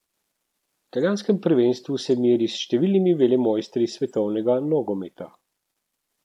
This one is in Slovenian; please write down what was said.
V italijanskem prvenstvu se meri s številnimi velemojstri svetovnega nogometa.